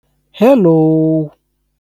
hello